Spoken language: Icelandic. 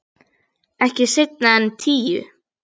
Ekki seinna en tíu.